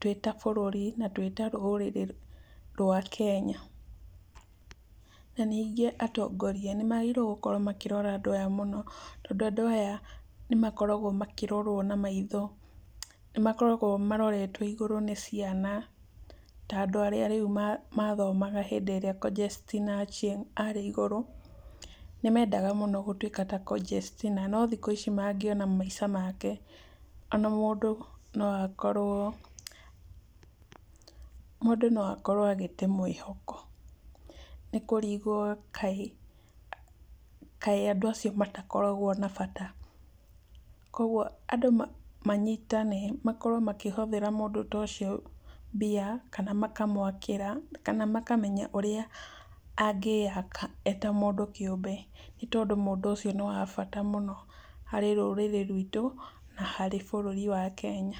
twĩ ta bũrũri na twĩ ta rũrĩrĩ rwa Kenya. Na ningĩ atongoria nĩ magĩrĩirwo gũkorwo makĩrora andũ aya mũno tondũ andũ aya nĩ makoragwo makĩrorwo na maitho, nĩ makoragwo maroretwo igũrũ nĩ ciana ta andũ arĩa rĩu mathomaga hĩndĩ ĩrĩa Conjestina Achieng arĩ igũrũ, nĩ mendaga mũno gũtũĩka ta Conjestina, no thikũ ici mangĩona maica make, ona mũndu no akorwo, mũndũ no akorwo agĩte mwĩhoko nĩ kũrigwo kaĩ andũ acio matakoragwo na bata kwa ũguo andũ manyitane makorwo makĩhothera mũndũ ta ũcio mbia, kana makamwakĩra kana makamenya ũrĩa angĩaka eta mũndũ kĩũmbe, nĩ tondũ mũndũ ũcio nĩ wa bata mũno harĩ rũrĩrĩ rwitũ na harĩ bũrũri wa Kenya.